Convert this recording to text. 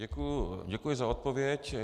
Děkuji za odpověď.